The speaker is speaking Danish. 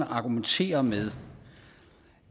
argumenterer med